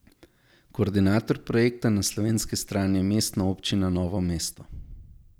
Koordinator projekta na slovenski strani je Mestna občina Novo mesto.